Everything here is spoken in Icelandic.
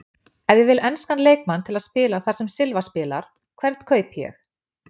Ef ég vil enskan leikmann til að spila þar sem Silva spilar, hvern kaupi ég?